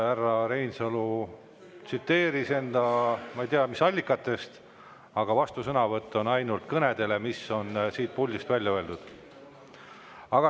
Härra Reinsalu tsiteeris ma ei tea, mis allikatest, aga vastusõnavõtt on ainult kõnedele, mis on siit puldist välja öeldud.